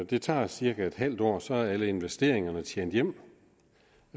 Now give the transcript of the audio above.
det tager cirka en halv år før alle investeringerne er tjent hjem